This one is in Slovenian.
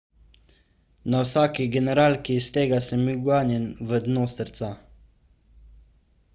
na vsaki generalki iz tega sem bil ganjen v dno srca